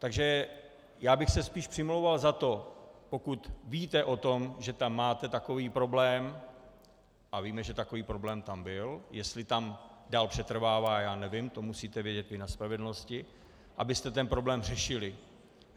Takže já bych se spíš přimlouval za to, pokud víte o tom, že tam máte takový problém, a víme, že takový problém tam byl, jestli tam dál přetrvává, já nevím, to musíte vědět vy na spravedlnosti, abyste ten problém řešili.